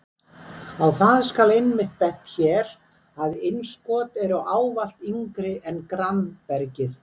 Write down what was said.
Á það skal einmitt bent hér að innskot eru ávallt yngri en grannbergið.